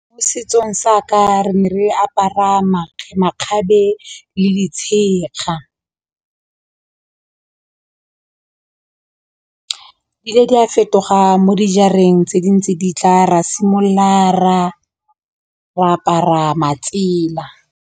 Mo setsong sa ka re apara makgabe makgabe le letshega le di a fetoga mo dijareng tse di ntse di tla ra simolola ra re apara matsela.